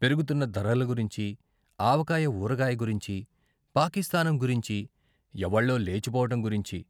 పెరుగుతున్న ధరల గురించీ, ఆవకాయ ఊరగాయ గురించీ, పాకిస్తానం గురించీ, ఎవళ్ళో లేచిపోవడం గురించీ.